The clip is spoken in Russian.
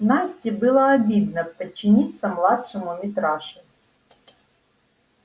насте было обидно подчиниться младшему митраше